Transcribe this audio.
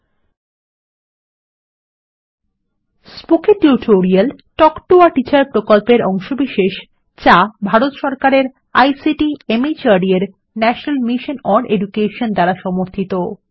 spoken tutorial talk to a teacher প্রকল্পের অংশবিশেষ যা ভারত সরকারের আইসিটি মাহর্দ এর ন্যাশনাল মিশন ওন এডুকেশন দ্বারা সমর্থিত